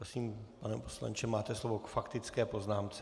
Prosím, pane poslanče, máte slovo k faktické poznámce.